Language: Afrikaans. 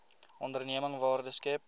onderneming waarde skep